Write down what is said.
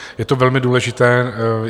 Je to velmi důležité.